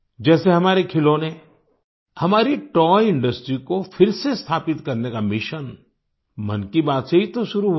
जैसे हमारे खिलौने हमारी तोय इंडस्ट्री को फिर से स्थापित करने का मिशन मन की बात से ही तो शुरू हुआ था